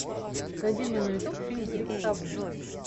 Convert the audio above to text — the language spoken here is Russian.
найди мне на ютуб фильм крик совы